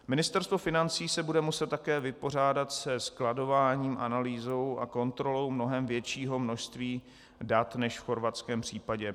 Ministerstvo financí se bude muset také vypořádat se skladováním, analýzou a kontrolou mnohem většího množství dat než v chorvatském případě.